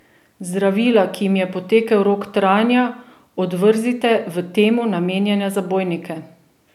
Zdravila, ki jim je potekel rok trajanja, odvrzite v temu namenjene zabojnike.